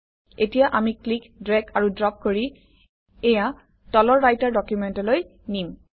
এতিয়া আমি click drag আৰু ড্ৰপ কৰি এইয়া তলৰ ৰাইটাৰ ডকুমেণ্টলৈ নিম